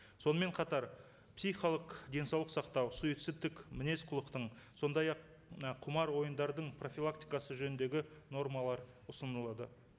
сонымен қатар психикалық денсаулық сақтау суицидтік мінез құлықтың сондай ақ мына құмар ойындардың профилактикасы жөніндегі нормалар ұсынылады